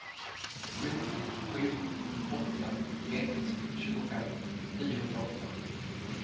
sju sju åtta ett tjugofem niohundraåtta